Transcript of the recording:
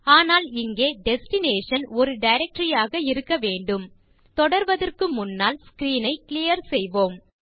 ஆனால் இங்கே டெஸ்டினேஷன் ஒரு டைரக்டரி ஆக இருக்க வேண்டும் தொடர்வதற்கு முன்னால் ஸ்க்ரீன் ஐ கிளியர் செய்யலாம்